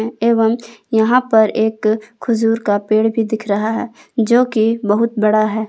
एवं यहां पर एक खजूर का पेड़ भी दिख रहा है जो कि बहुत बड़ा है।